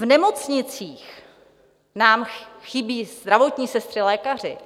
V nemocnicích nám chybí zdravotní sestry, lékaři.